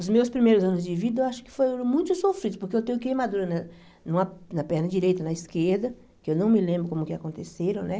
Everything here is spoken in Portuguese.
Os meus primeiros anos de vida, eu acho que foram muito sofridos, porque eu tenho queimadura na numa na perna direita, na esquerda, que eu não me lembro como que aconteceram, né?